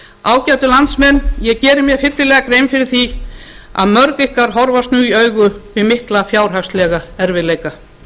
ágætu landsmenn ég geri mér fyllilega grein fyrir því að mörg ykkar horfast nú í augu við mikla fjárhagslega erfiðleika